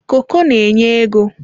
koko n'enye ego.